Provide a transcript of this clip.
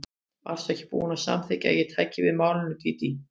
Varstu ekki búin að samþykkja að ég tæki við málinu, Dídí?